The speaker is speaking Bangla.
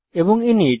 এবং ইনিট